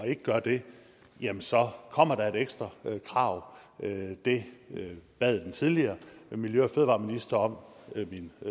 ikke gør det jamen så kommer der et ekstra krav det bad den tidligere miljø og fødevareminister om